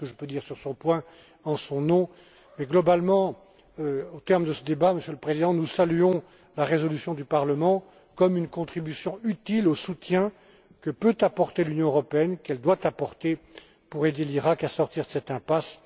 Voilà ce que je peux dire sur ce point en son nom, et globalement au terme de ce débat, Monsieur le Président, nous saluons la résolution du Parlement comme une contribution utile au soutien que l'Union européenne peut et doit apporter pour aider l'Iraq à sortir de cette impasse.